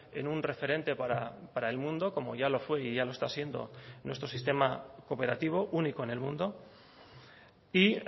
en un referente para el mundo como ya lo fue y ya lo está siendo nuestro sistema cooperativo único en el mundo y